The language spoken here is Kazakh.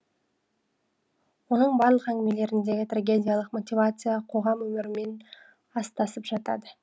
оның барлық әңгімелеріндегі трагедиялық мотивация қоғам өмірімен астасып жатады